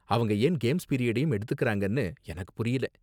அவங்க ஏன் கேம்ஸ் பீரியடையும் எடுத்துக்கறாங்கன்னு எனக்கு புரியல.